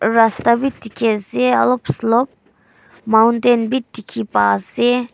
rasta wi dikhi ase olip slope mountain bi dikhi paiase.